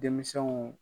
Denmisɛnw